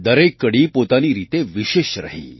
દરેક કડી પોતાની રીતે વિશેષ રહી